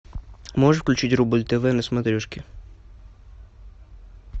можешь включить рубль тв на смотрешке